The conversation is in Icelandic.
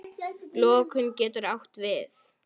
Lokun getur átt við